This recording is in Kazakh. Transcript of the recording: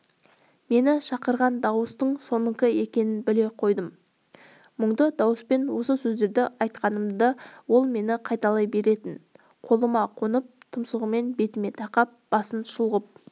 мені шақырған дауыстың соныкі екенін біле қойдым мұңды дауыспен осы сөздерді айтқанымда ол мені қайталай беретін қолыма қонып тұмсығын бетіме тақап басын шұлғып